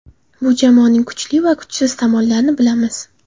Bu jamoaning kuchli va kuchsiz tomonlarini bilamiz.